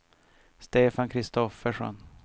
Stefan Kristoffersson